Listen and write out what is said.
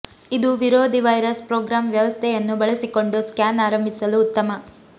ಇದು ವಿರೋಧಿ virus program ವ್ಯವಸ್ಥೆಯನ್ನು ಬಳಸಿಕೊಂಡು ಸ್ಕ್ಯಾನ್ ಆರಂಭಿಸಲು ಉತ್ತಮ